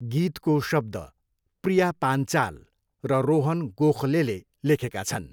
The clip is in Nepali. गीतको शब्द प्रिया पान्चाल र रोहन गोखलेले लेखेका छन्।